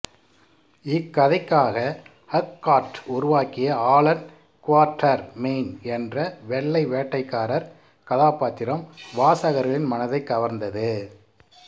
இக்கதைக்காக Haggard உருவாக்கிய Allan Quatermain என்ற வெள்ளை வேட்டைக்காரர் கதாப்பாத்திரம் வாசகர்களின் மனதைக் கவர்ந்தது